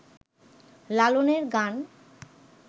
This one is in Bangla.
লালনের গান